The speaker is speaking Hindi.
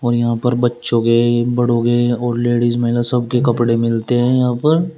र यहां पर बच्चों के बड़ों के और लेडिस महिला सबके कपड़े मिलते हैं यहां पर।